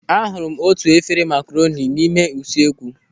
A hụrụ m otu efere makaroni n'ime usuekwu.